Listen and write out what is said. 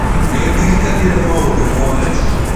Nĩndĩrĩkanĩre maũdũ mothe.